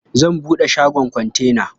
Zan buɗe shagon kontena.